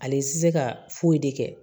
Ale ti se ka foyi de kɛ